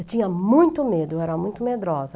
Eu tinha muito medo, eu era muito medrosa.